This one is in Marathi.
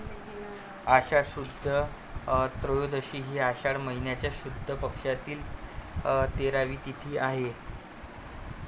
आषाढ शुद्ध त्रयोदशी हि आषाढ महिन्याच्या शुद्ध पक्षातील तेरावी तिथी आहे.